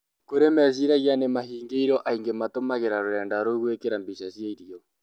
Kurĩ meciragia nĩmahingĩirwo aĩngĩ matũmagĩra rũrenda rũu gwĩkira mbica cĩa irĩo